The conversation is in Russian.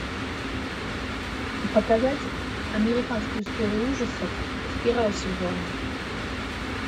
показать американскую историю ужасов с первого сезона